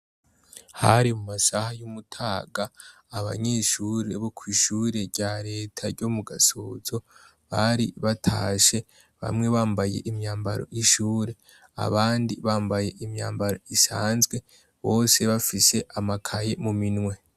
Hari mu masaha y'umutaga abanyeshuri boko'ishure rya leta ryo mu gasozo bari batashe bamwe bambaye imyambaro y'ishure abandi bambaye imyambaro isanzwe bose bafise amakaye mu minwe.